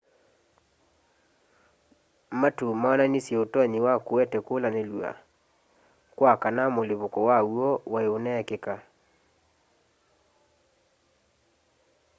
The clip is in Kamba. matu maonanisye utonyi wa kuete kulanilw'a kwa kana mũlipũko waw'o wai uneekika